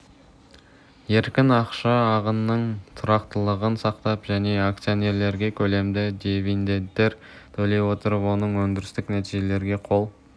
еркін ақша ағынының тұрақтылығын сақтап және акционерлерге көлемді дивидендтер төлей отырып оң өндірістік нәтижелерге қол